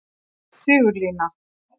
Sigurlína